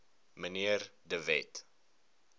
mnr de wet